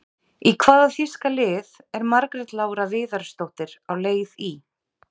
Í hvaða þýska lið er Margrét Lára Viðarsdóttir á leið í?